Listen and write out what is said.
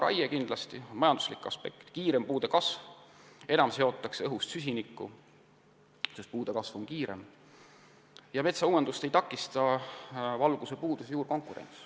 Raie on kindlasti odavam, puude kasv on kiirem ja enam seotakse õhust süsinikku, sest puude kasv on kiirem, ning metsauuendust ei takista valgusepuudus ega juurkonkurents.